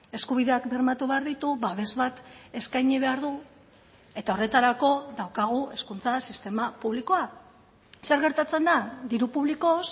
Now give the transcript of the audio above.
eskubideak bermatu behar ditu babes bat eskaini behar du eta horretarako daukagu hezkuntza sistema publikoa zer gertatzen da diru publikoz